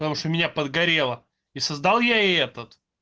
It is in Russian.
потому что у меня подгорело и создал я и этот